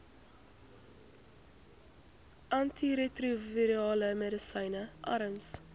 antiretrovirale medisyne arms